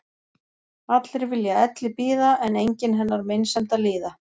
Allir vilja elli bíða en enginn hennar meinsemd að líða.